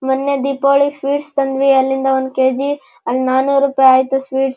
ಮೊನ್ನೆ ದೀಪಾವಳಿ ಸ್ವೀಟ್ಸ್ ತಂದ್ವಿ ಅಲ್ಲಿಂದ ಒಂದು ಕೆಜಿ ಅಲ್ ನಾನೂರು ರೂಪಾಯಿ ಆಯಿತು ಸ್ವೀಟ್ಸ್ --